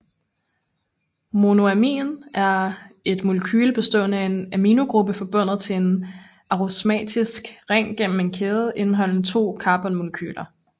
Monoamin er et molekyle bestående af en aminogruppe forbundet til en aromatisk ring gennem en kæde indeholdende to karbonmolekyler